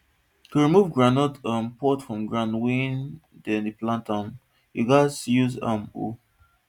to remove groundnut um pods from ground wey dey plant am you gats use um hoe